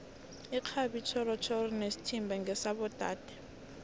irhabi itjhorhoro nesithimba ngesabo dade